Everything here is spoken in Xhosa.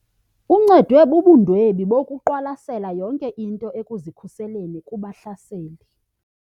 Uncedwe bubundwebi bokuqwalasela yonke into ekuzikhuseleni kubahlaseli.